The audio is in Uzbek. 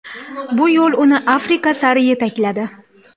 Bu yo‘li uni Afrika sari yetakladi.